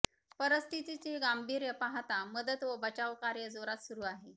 परिस्थितीचे गांभीर्य पाहता मदत व बचाव कार्य जोरात सुरु आहे